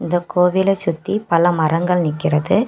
இந்த கோவில சுத்தி பல மரங்கள் நிக்கிறது.